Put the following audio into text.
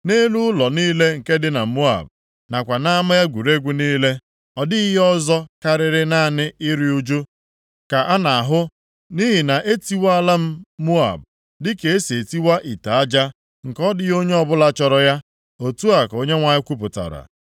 Nʼelu ụlọ niile nke dị na Moab, nakwa nʼama egwuregwu niile, ọ dịghị ihe ọzọ karịa naanị iru ụjụ ka a na-ahụ. Nʼihi na e tiwaala m Moab dịka e si etiwa ite aja nke ọ dịghị onye bụla chọrọ ya,” otu a ka Onyenwe anyị kwupụtara.